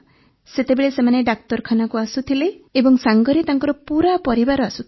ସେତେବେଳେ ସେମାନେ ଡାକ୍ତରଖାନାକୁ ଆସୁଥିଲେ ଏବଂ ସାଙ୍ଗରେ ତାଙ୍କର ପୁରା ପରିବାର ଆସୁଥିଲେ